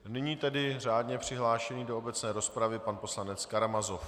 Nyní tedy řádně přihlášený do obecné rozpravy pan poslanec Karamazov.